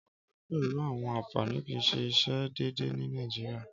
Ọrẹ pẹlu àwọn anfani kii ṣe iṣe deede ni Nàìjíríá.